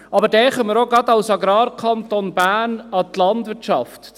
Denken wir auch als Agrarkanton Bern an die Landwirtschaft.